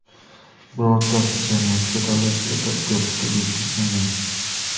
Birortasi jamiyatga, davlat siyosatiga putur yetkazmagan.